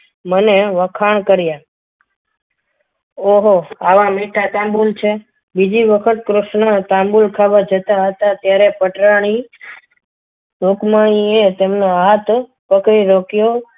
મને વખાણ કર્યા ઓ ઓહો આવા મીઠા તાંબુ છે બીજી વખત કૃષ્ણ તાંબુલ ખાવા જતા હતા ત્યારે પટરાણી તમને આ હાથ રોક્યો.